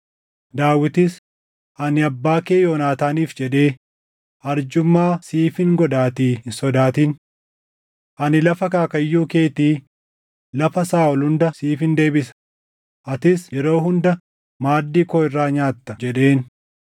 Daawitis, “Ani abbaa kee Yoonaataaniif jedhee arjummaa siifin godhaatii hin sodaatin. Ani lafa akaakayyuu keetii, lafa Saaʼol hunda siifin deebisa; atis yeroo hunda maaddii koo irraa nyaatta” jedheen.